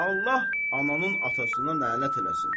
Allah ananın atasına lənət eləsin.